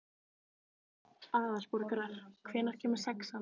Aðalborgar, hvenær kemur sexan?